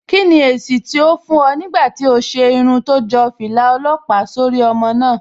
Kí ni èsì tó fún ẹ nígbà tí o ṣe irun tó jọ fìlà ọlọ́pàá sórí ọmọ náà?